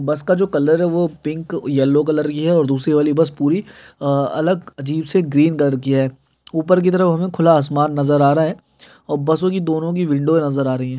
बस का जो कलर है वो पिंक और येलो की है दूसरी वाली बस पूरी अ अलग अजीब से ग्रीन कलर की है ऊपर की तरफ हमें खुला आसमान नजर आ रहा है और बसों की दोनों की विंडो नजर आ रही है।